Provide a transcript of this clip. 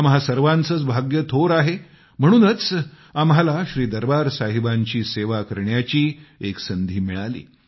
आम्हा सर्वांचेच भाग्य थोर आहे म्हणूनच आम्हाला श्रीदरबार साहिबांची सेवा करण्याची एक संधी मिळाली